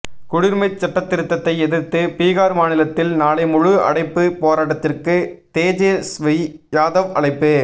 குடியுரிமை சட்டதிருத்தத்தை எதிர்த்து பீகார் மாநிலத்தில் நாளை முழு அடைப்பு பேராட்டத்திற்கு தேஜஸ்வி யாதவ் அழைப்பு